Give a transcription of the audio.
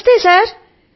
నమస్తే సర్